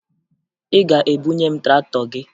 Ị ga-ebunye m traktọ gị!